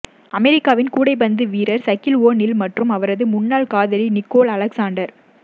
அமெரிக்காவின் கூடைப்பந்து வீரர் சகில் ஓ நில் மற்றும் அவரது முன்னாள் காதலி நிகோல் அலெக்சாண்டர்